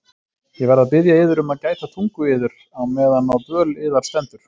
Ég verð að biðja yður um að gæta tungu yðar meðan á dvöl yðar stendur.